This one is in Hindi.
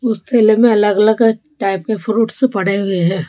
उस ठेले में अलग अलग टाइप के फ्रूट्स पड़े हुए हैं।